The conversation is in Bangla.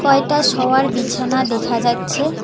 কয়টা শোয়ার বিছানা দেখা যাচ্ছে।